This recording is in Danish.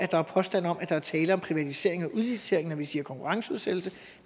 der er påstande om at der er tale om privatisering og udlicitering når vi siger konkurrenceudsættelse